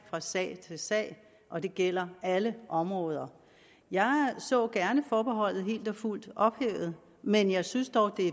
fra sag til sag og det gælder alle områder jeg så gerne forbeholdet helt og fuldt ophævet men jeg synes dog det